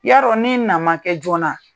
Yarɔ nin na ma kɛ joona,